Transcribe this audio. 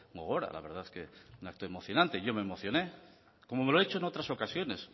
gogora la verdad es que un acto emocionante y yo me emocioné como lo he hecho en otras ocasiones